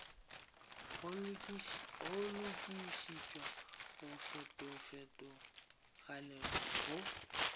go lokišetša go fetofetogale go